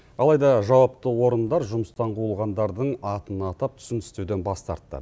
алайда жауапты орындар жұмыстан қуылғандардың атын атап түсін түстеуден бас тартты